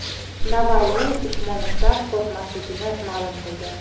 Navalniy Usmonovdan qo‘rqmasligini ma’lum qildi.